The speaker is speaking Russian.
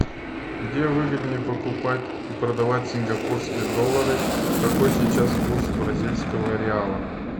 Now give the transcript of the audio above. где выгоднее покупать и продавать сингапурские доллары какой сейчас курс бразильского реала